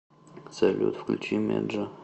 салют включи меджа